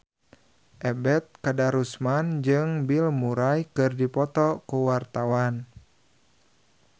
Ebet Kadarusman jeung Bill Murray keur dipoto ku wartawan